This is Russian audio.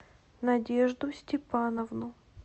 надежду степановну